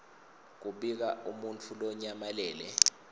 kubika umuntfu lonyamalele